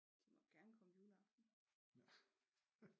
De må gerne komme juleaften